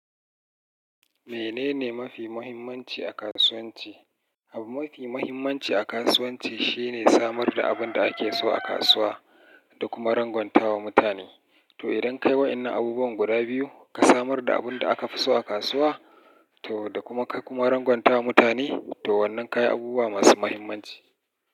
Menene mafi muhimmanci a kasuwanci? Abin mafi muhimmanci a kasuwanci shine samar da abin da ake so a kasuwa da kuma rangwanta wa mutane. To idan ka yi waɗannan abubuwan guda biyu, ka samar da abin da aka fi so a kasuwa, to da kuma ka kuma rangwanta wa mutane, to wannan ka yi abubuwa masu muhimmanci.